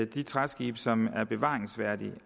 de træskibe som er bevaringsværdige